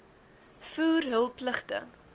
voer hul pligte